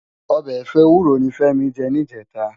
Òbè ẹfọ éwúró ni Femi jè nijètá